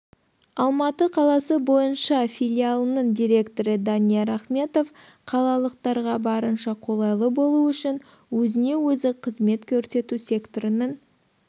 алматы қаласы бойынша филиалының директоры данияр ахметов қалалықтарға барынша қолайлы болу үшін өзіне-өзі қызмет көрсету секторының